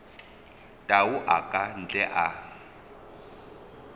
tau a ka ntle a